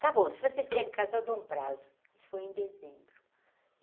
Está bom, se vocês querem casar eu dou um prazo, isso foi em dezembro.